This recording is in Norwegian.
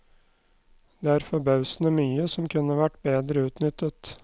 Det er forbausende mye som kunne vært bedre utnyttet.